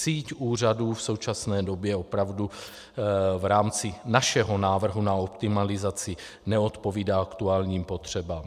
Síť úřadů v současné době opravdu v rámci našeho návrhu na optimalizaci neodpovídá aktuálním potřebám.